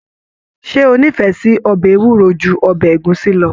Ṣe o n'ifẹ sí ọbẹ ewúro jù ọbẹ ẹ̀gúsí lọ